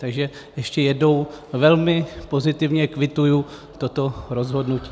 Takže ještě jednou, velmi pozitivně kvituji toto rozhodnutí.